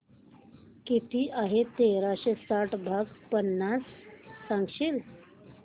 किती आहे तेराशे साठ भाग पन्नास सांगशील